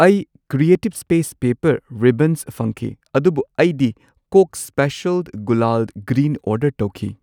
ꯑꯩ creative space paper ribbons ꯐꯪꯈꯤ, ꯑꯗꯨꯕꯨ ꯑꯩꯗꯤ ꯀꯣꯛ ꯁ꯭ꯄꯦꯁꯤꯑꯜ ꯒꯨꯂꯥꯜ ꯒ꯭ꯔꯤꯟ ꯑꯣꯔꯗꯔ ꯇꯧꯈꯤ꯫